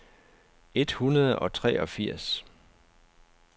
et hundrede og treogfirs